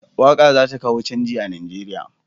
Waƙa za ta kawo canji a Nigeriya.